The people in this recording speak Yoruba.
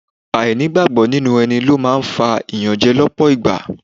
Ainigbagbo nínú ẹni ló máa ń fa iyanje lọpọ ìgbà.